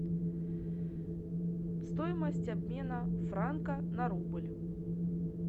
стоимость обмена франка на рубль